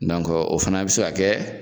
o fana be se ka kɛ